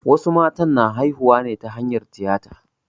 Wasu matan na haihuwa ne ta hanyar tiyata.